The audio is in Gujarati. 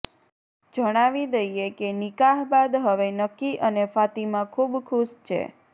જણાવી દઈએ કે નિકાહ બાદ હવે નકી અને ફાતિમા ખૂબ ખુશ છે